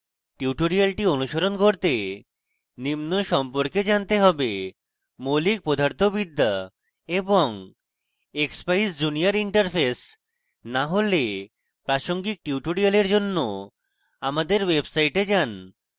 tutorial অনুসরণ করতে নিম্ন সম্পর্কে জানতে হবে